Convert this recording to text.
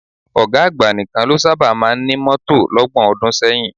Ọ̀gá àgbà nìkan ló sábà máa ń ní mọ́tò lọ́gbọ̀n ọdún sẹ́yìn